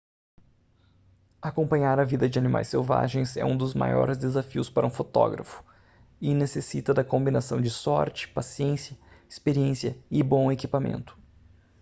acompanhar a vida de animais selvagens é um dos maiores desafios para um fotógrafo e necessita da combinação de sorte paciência experiência e bom equipamento